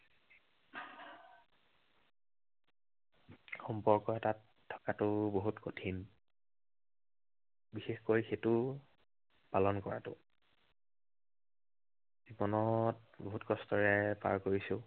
সম্পৰ্ক এটাত থকাটো বহুত কঠিন। বিশেষকৈ সেইটো পালন কৰাটো। জীৱনত বহুত কষ্টেৰে পাৰ কৰিছো।